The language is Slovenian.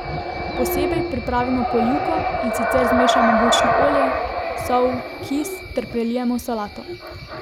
Posebej pripravimo polivko, in sicer zmešamo bučno olje, sol, kis, ter prelijemo solato.